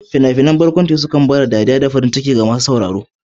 Fina-finan barkwanci sukan kawo dariya da farin ciki ga masu sauraro.